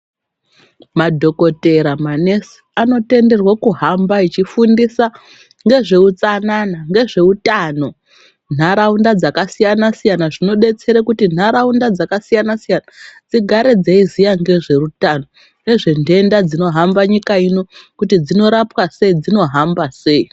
Madhokodheya manesi anotenderwa kuhamba achifundisa ngezveutsanana ngezveutano muntaraunda dzakasiyana siyana zvinodetsere kuti ntaraunda dzakasiyana siyana dzigare dzeiziye ngezveutano nezventenda dzinohamba nyika ino kuti dzinorapwa sei dzinohamba sei.